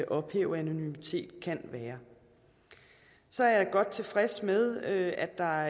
ophæve anonymitet kan være så er jeg godt tilfreds med at der